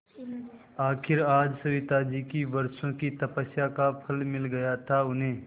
आखिर आज सविताजी की वर्षों की तपस्या का फल मिल गया था उन्हें